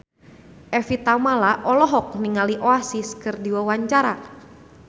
Evie Tamala olohok ningali Oasis keur diwawancara